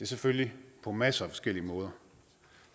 selvfølgelig på masser af forskellige måder